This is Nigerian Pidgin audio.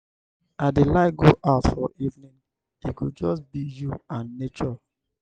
i dey like go out for evening. e go just be you and nature.